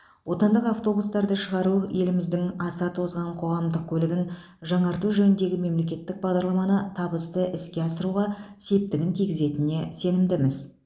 отандық автобустарды шығару еліміздің аса тозған қоғамдық көлігін жаңарту жөніндегі мемлекеттік бағдарламаны табысты іске асыруға септігін тигізетініне сенімдіміз